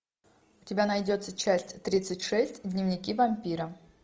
у тебя найдется часть тридцать шесть дневники вампира